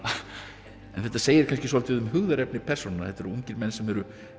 en þetta segir kannski svolítið um hugðarefni persónanna þetta eru ungir menn sem eru